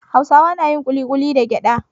Hausawa na yin ƙuliƙuli da gyada.